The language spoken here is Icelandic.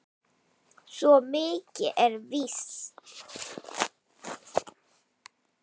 Svo mikið er víst